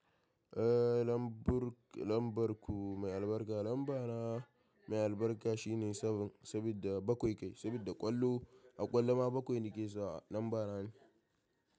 Eh lambu lambar ku mai albarka, lambana mai albarka shine sabin sabida bakwai kai, sabida ƙwallo a ƙwallo ma bakwai ne ke sa lambana ne.